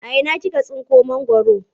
A ina kika tsinko mangwaro?